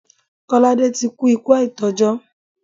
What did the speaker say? Kọ́ládé ti kú ikú àìtọ́jọ́.